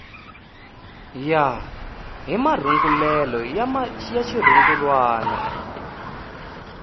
ya hi marungulelo ya xirungulwana